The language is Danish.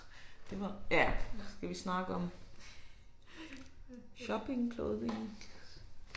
Det var ja skal vi snakke om shopping clothing